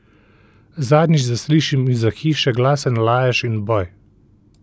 Zadnjič zaslišim izza hiše glasen lajež in boj!